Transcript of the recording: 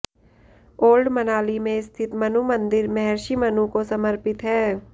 old Manali में स्थित मनु मंदिर महर्षि मनु को समर्पित है